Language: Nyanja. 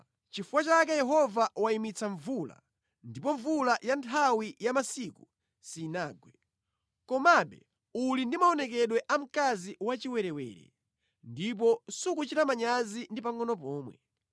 Nʼchifukwa chake Yehova wayimitsa mvula, ndipo mvula ya nthawi ya masika sinagwe. Komabe uli ndi maonekedwe a mkazi wachiwerewere; ndipo sukuchita manyazi ndi pangʼono pomwe.